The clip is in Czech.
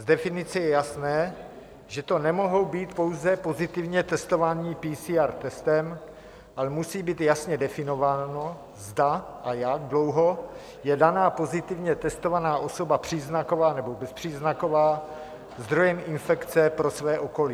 Z definice je jasné, že to nemohou být pouze pozitivně testovaní PCR testem, ale musí být jasně definováno, zda a jak dlouho je daná pozitivně testovaná osoba příznaková nebo bezpříznaková zdrojem infekce pro své okolí.